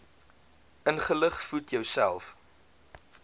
ingelig voed jouself